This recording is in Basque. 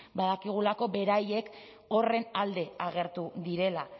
badakigulako beraiek horren alde agertu direla